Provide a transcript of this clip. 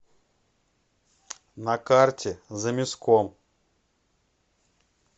на карте замяском